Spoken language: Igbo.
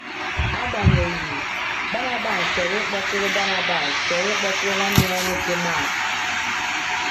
Agbanyeghị, Barnabas chọrọ ịkpọtụrụ Barnabas chọrọ ịkpọtụrụ nwanne ya nwoke Mark.